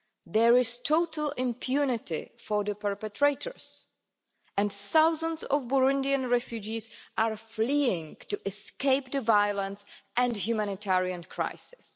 There is total impunity for the perpetrators, and thousands of Burundian refugees are fleeing to escape the violence and humanitarian crisis.